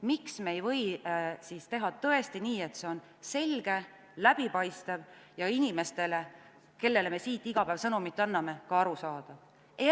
Miks me ei või teha nii, et see on selge, läbipaistev ja inimestele, kellele me siit iga päev sõnumit anname, ka arusaadav?